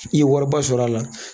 I ye wariba sɔrɔ a la